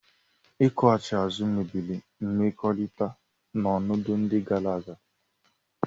Ịkwụghachi azụ mebiri mmekọrịta n'ọnọdụ ndị gara aga